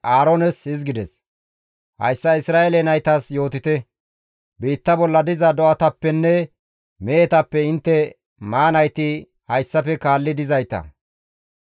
«Hayssa Isra7eele naytas yootite, ‹Biitta bolla diza do7atappenne mehetappe intte maanayti hayssafe kaalli dizayta,